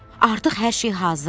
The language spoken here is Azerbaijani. Artıq hər şey hazırdır.